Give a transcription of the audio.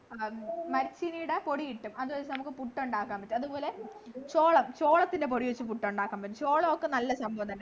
മരച്ചീനിയുടെ പൊടി കിട്ടും അത് വച്ച് നമ്മുക്ക് പുട്ടുണ്ടാക്കാൻ പറ്റും അതുപോലെ ചോളം ചോളത്തിൻ്റെ പൊടി വച്ച് പുട്ടുണ്ടാക്കാൻ പറ്റും ചോളൊക്കെ നല്ല സംഭവം തന്നെ